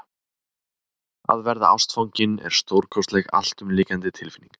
Að verða ástfanginn er stórkostleg, alltumlykjandi tilfinning.